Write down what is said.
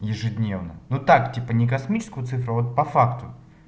ежедневно ну так типа не космическую цифра вот по факту